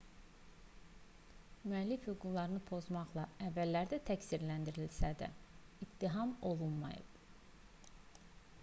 müəllif hüquqlarını pozmaqda əvvəllər də təqsirləndirilsə də ittiham olunmayıb